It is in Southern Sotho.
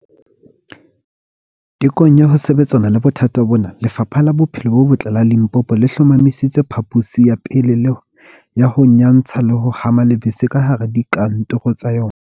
Tekong ya ho sebetsana le bothata bona, Lefapha la Bophelo bo Botle la Limpopo le hlomamisitse phaposi ya pele ya ho nyantsha le ho hama lebese kahara dika ntoro tsa yona.